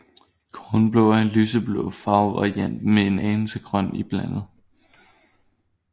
Kornblå er en lyseblå farvevariant med en anelse grøn iblandet